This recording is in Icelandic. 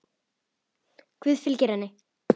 Guð fylgi henni.